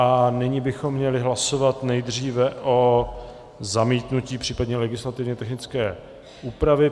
A nyní bychom měli hlasovat nejdříve o zamítnutí, případně legislativně technické úpravě.